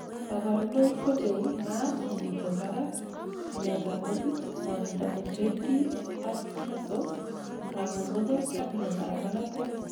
kaborunoik kocheu maat nemiten barak, amet ab metit, ngwonindo en jointit ak muscle, kangungunet ak miandap makatet